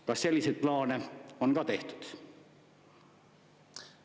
Kas selliseid plaane on ka tehtud?